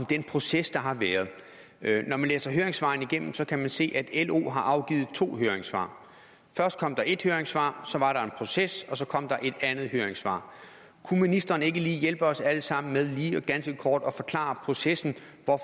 den proces der har været når man læser høringssvarene igennem kan man se at lo har afgivet to høringssvar først kom der ét høringssvar så var der en proces og så kom der et andet høringssvar kunne ministeren ikke hjælpe os alle sammen med lige ganske kort at forklare processen